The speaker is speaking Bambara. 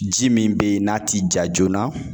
Ji min bɛ ye n'a ti ja joona